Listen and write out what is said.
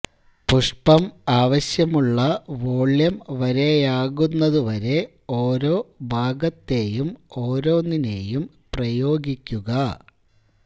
പുഷ്പം ആവശ്യമുള്ള വോള്യം വരെയാകുന്നതുവരെ ഓരോ ഭാഗത്തെയും ഓരോന്നിനേയും പ്രയോഗിക്കുക